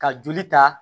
Ka joli ta